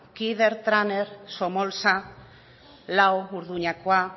kider traner somolsa lau urduñakoa